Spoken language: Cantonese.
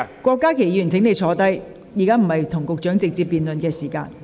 郭議員，請坐下，現在並非與局長辯論的時間。